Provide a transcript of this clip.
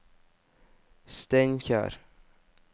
Steinkjer